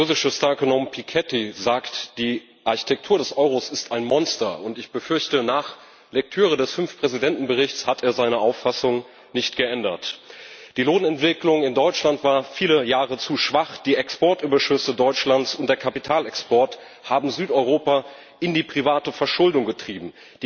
Der französische Star Ökonom Piketty sagt Die Architektur des Euros ist ein Monster. Ich befürchte, nach Lektüre des Fünf Präsidenten Berichts hat er seine Auffassung nicht geändert. Die Lohnentwicklung in Deutschland war viele Jahre zu schwach, die Exportüberschüsse Deutschlands und der Kapitalexport haben Südeuropa in die private Verschuldung getrieben.